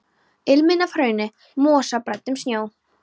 Ilminn af hrauni, mosa og bræddum snjó.